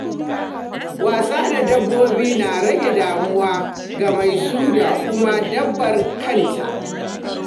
Wasa da dabbobi na rage damuwa ga mai su da kuma dabbar kanta.